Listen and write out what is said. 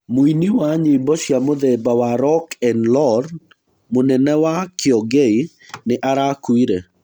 Mũini wa nyĩmbo cia mũthemba wa roku na ror, Mũnene wa Kiongei nĩ arakuire.